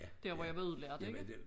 Der hvor jeg blev udlært ikke